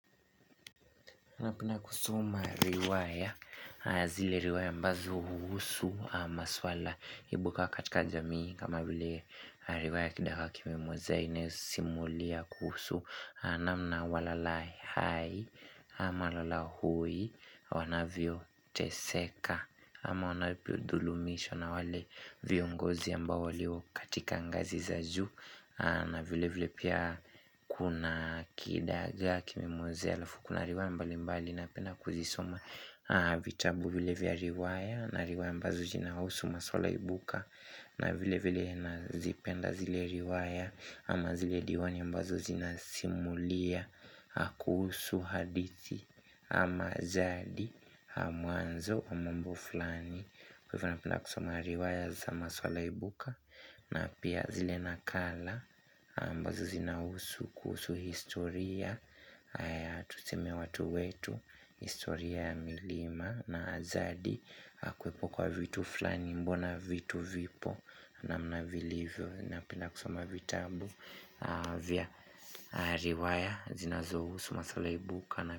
Napenda kusoma riwaya, zile riwaya ambazo huhusu ma swala ibuka katika jamii kama vile riwaya kidagaa kimemwozea ina simulia kuhusu na mna walala hai ama lala hui wanavyo teseka ama wanalivyo dhulumishwa na wale viongozi ambao walio katika ngazi za ju na vile vile pia Kuna kidagaa Kimemwozea alafuku na riwaya mbali mbali na penda kuzisoma vitabu vile vya riwaya na riwaya mbazo jina hausu masuala ibuka na vile vile nazipenda zile riwaya ama zile diwani ambazo zina Simulia kuhusu hadithi ama zadi mwanzo wa mambo fulani Kwa hivo na penda kusoma riwaya za maswala ibuka na pia zile nakala ambazo zinahusu kuhusu historia Tuseme watu wetu historia ya milima na zadi Kwa hivo tu fulani mbona vitu vipo na namna vilivyo napenda kusoma vitabu vya riwaya zinazohu su maswala ibuka na.